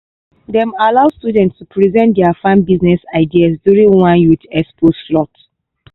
dem allow students to present their farm business ideas during one youth expo slot.